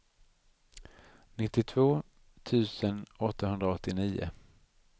nittiotvå tusen åttahundraåttionio